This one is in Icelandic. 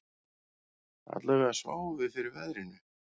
Allavega sváfum við fyrir veðrinu